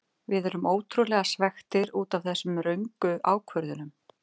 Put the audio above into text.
Við erum ótrúlega svekktir útaf þessum röngu ákvörðunum.